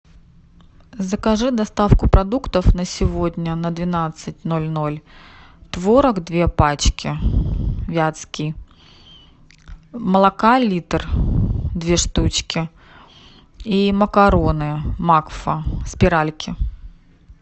закажи доставку продуктов на сегодня на двенадцать ноль ноль творог две пачки вятский молока литр две штучки и макароны макфа спиральки